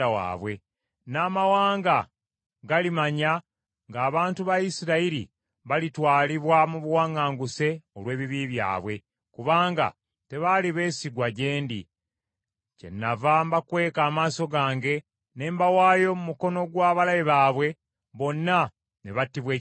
N’amawanga galimanya ng’abantu ba Isirayiri balitwalibwa mu buwaŋŋanguse olw’ebibi byabwe, kubanga tebaali beesigwa gye ndi. Kyenava mbakweka amaaso gange ne mbawaayo mu mukono gw’abalabe baabwe, bonna ne battibwa ekitala.